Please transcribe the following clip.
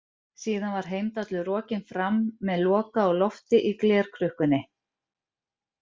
Síðan var Heimdallur rokinn fram með Loka á lofti í glerkrukkunni.